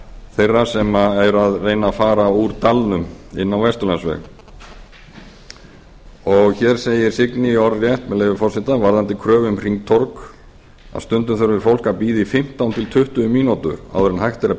þeirra sem eru að reyna að fara úr dalnum inn á vesturlandsveg hér segir signý orðrétt með leyfi forseta varðandi kröfu um hringtorg að stundum þurfi fólk að bíða í fimmtán til tuttugu mínútur áður en hægt er að